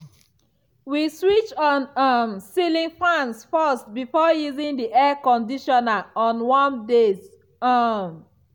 we switch on um ceiling fans first before using the air conditioner on warm days. um